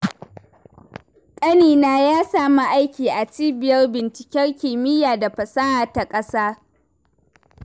Ƙanina ya sami aiki a cibiyar binciken kimiyya da fasaha ta ƙasa.